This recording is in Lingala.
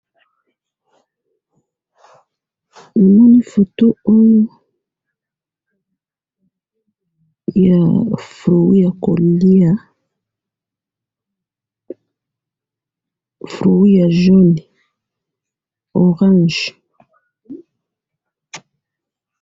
huu namoni foto oyo ya fruit ya koliya fruit ya jaune, orange.